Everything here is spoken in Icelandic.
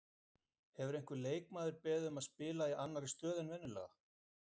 Hefur einhver leikmaður beðið um að spila í annari stöðu en venjulega?